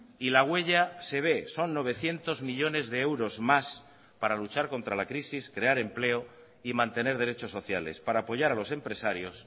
y la huella se ve son novecientos millónes de euros más para luchar contra la crisis crear empleo y mantener derechos sociales para apoyar a los empresarios